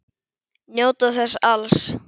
Njóta þess alls.